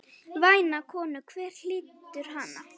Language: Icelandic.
Væna konu, hver hlýtur hana?